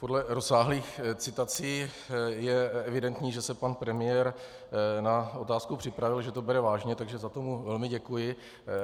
Podle rozsáhlých citací je evidentní, že se pan premiér na otázku připravil, že to bere vážně, takže za to mu velmi děkuji.